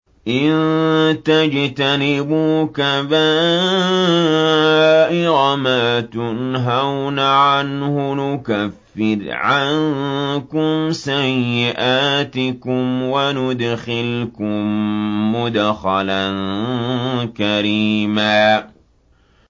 إِن تَجْتَنِبُوا كَبَائِرَ مَا تُنْهَوْنَ عَنْهُ نُكَفِّرْ عَنكُمْ سَيِّئَاتِكُمْ وَنُدْخِلْكُم مُّدْخَلًا كَرِيمًا